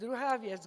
Druhá věc.